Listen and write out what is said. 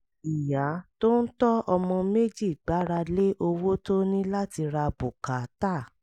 ìyá tó ń tọ́ ọmọ méjì gbára lé owó tó ní láti ra bùkátà